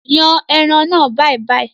Yàn ẹran náà bàìbàì!